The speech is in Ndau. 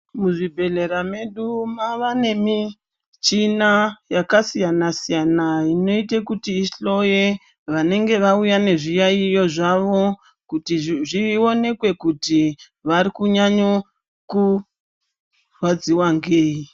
Muzvibhehlera medu mavane michina yakasiyana-siyana inoite kuti ihloye vanenge vauya nezviyaiyo zvavo kuti zvionekwe kuti varunyanyorwadziwa ngei.